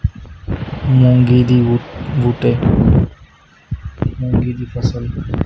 ਮੂੰਗੀ ਦੀ ਬੂਟੇ ਦੀ ਫਸਲ।